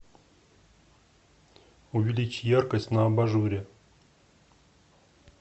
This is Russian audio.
увеличь яркость на абажуре